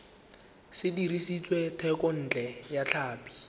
se dirisitswe thekontle ya tlhapi